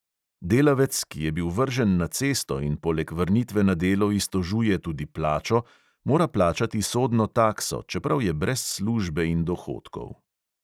Delavec, ki je bil vržen na cesto in poleg vrnitve na delo iztožuje tudi plačo, mora plačati sodno takso, čeprav je brez službe in dohodkov.